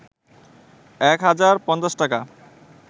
১ হাজার ৫০ টাকা